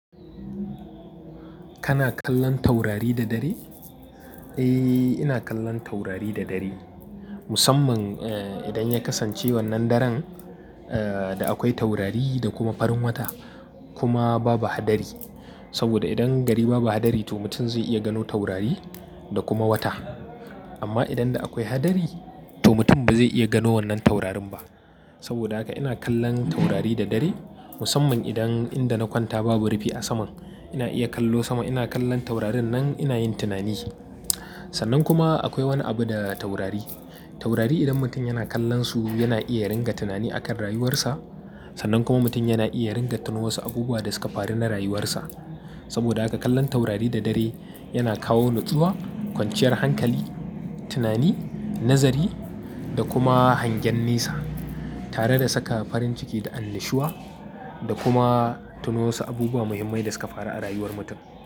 Kana kallon taurari da dare? Eh, ina kallon taurari da dare. Musamman eh, idan ya kasance wannan daren eh, da akwai taurari da kuma farin wata kuma babu hadari. Saboda idan gari babu hadari to mutum zai iya gano taurari da kuma wata. Amma idan da akwai hadari to mutum ba zai iya gano wannan taurarin ba. Saboda haka ina kallon taurari da dare musamman idan inda na kwanta babu rufi a saman. Ina iya kallo sama, ina kallon taurarin nan ina yin tunani. Sannan kuma akwai wani abu da taurari. Taurari idan mutum yana kallonsu yana iya ringa tunani akan rayuwarsa. Sannan kuma mutum yana iya yaringa tuno wasu abubuwa da suka faru na rayuwarsa. Saboda haka kallon taurari da dare yana kawo nutsuwa, kwanciyar hankali, tunani, nazari da kuma hangen nesa. Tare da saka farin ciki da annashuwa da kuma tuno wasu abubuwa muhimmai da suka faru a rayuwar mutum.